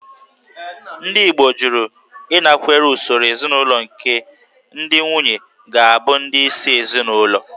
Ndị Igbo jụrụ ịnakwere usoro ezinaụlọ nke ndị nwunye ga-abụ ndị isi ezinụlọ